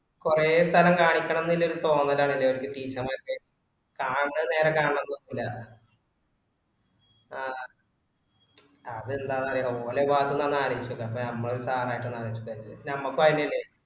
കൊറേ സ്ഥലം കാണിക്കണംനല്ലൊരു തോന്നലാന്നല്ലേ ലോരോരോ teacher മാർക്ക്‌ കാണാത്ത നേര കണ്ന്നൂല ആ അത്ന്താന്നറിയോ online class ഒന്നു ആലോയിച്ഛ് നോക്ക് നമുക്ക് sir യായിട്ടൊന്ന് ആലോയിച് നോക്ക് നമ്മക്കും അതന്നെല്ലേ